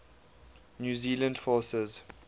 new zealand forces